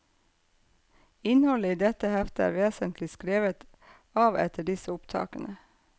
Innholdet i dette heftet er vesentlig skrevet av etter disse opptakene.